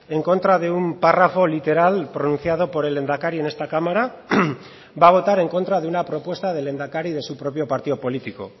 en contra de un párrafo literal pronunciado por el lehendakari en esta cámara va a votar en contra de una propuesta del lehendakari de su propio partido político